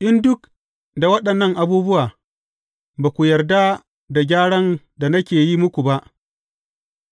In duk da waɗannan abubuwa, ba ku yarda da gyaran da nake yi muku ba,